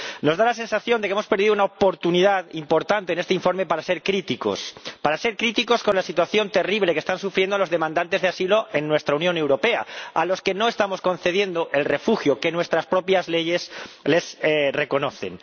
Nos da la sensación de que hemos perdido una oportunidad importante en este informe para ser críticos, para ser críticos con la situación terrible que están sufriendo los demandantes de asilo en nuestra Unión Europea, a los que no estamos concediendo el refugio que nuestras propias leyes les reconocen.